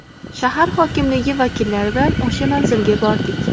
Shahar hokimligi vakillari bilan o‘sha manzilga bordik.